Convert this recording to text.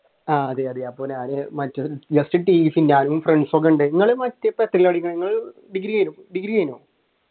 അതെ അതെ അപ്പൊ ഞാൻ just tc ഞാനും friends ഒക്കെയുണ്ട് നിങ്ങൾ ഇപ്പൊ എത്രയിലാ പഠിക്കുന്നത് ഡിഗ്രി ഡിഗ്രി കഴിഞ്ഞോ?